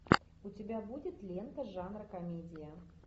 у тебя будет лента жанра комедия